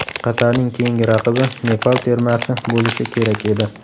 Qatarning keyingi raqibi Nepal termasi bo‘lishi kerak edi.